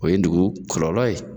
O ye dugu kɔlɔlɔ ye.